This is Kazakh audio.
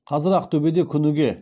қазір ақтөбеде күніге